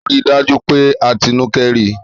Rí dájú pé Atinúkẹ́ rí!